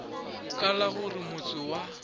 ka la gore motse wa